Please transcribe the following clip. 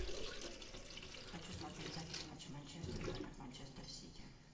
хочу смотреть запись матча манчестер против манчестер сити